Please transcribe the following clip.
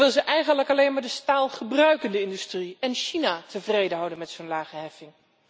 Of wil ze eigenlijk alleen maar de staalgebruikende industrie en China tevreden houden met zo'n lage heffing?